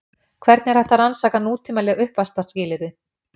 Hvernig er hægt að rannsaka nútímaleg uppvaxtarskilyrði?